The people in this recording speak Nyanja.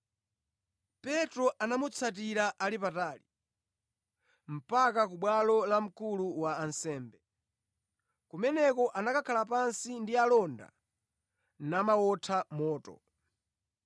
Petro anamutsatira ali patali, mpaka ku bwalo la mkulu wa ansembe. Kumeneko anakhala pansi ndi alonda namawotha moto.